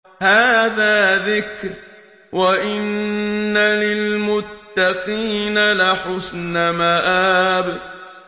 هَٰذَا ذِكْرٌ ۚ وَإِنَّ لِلْمُتَّقِينَ لَحُسْنَ مَآبٍ